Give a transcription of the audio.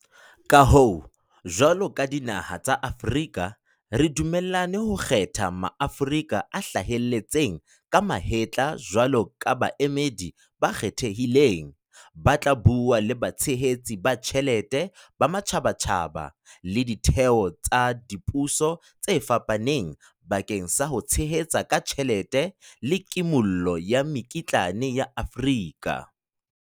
Ka hoo, jwalo ka dinaha tsa Afrika re dumellane ho kgetha Maaforika a hlaheletseng ka mahetla jwalo ka baemedi ba kgethehileng, ba tla bua le batshehetsi ba tjhelete ba matjhabatjhaba le ditheo tsa dipuso tse fapaneng bakeng sa ho tshehetsa ka tjhelete le kimollo ya mekitlane ya Afrika.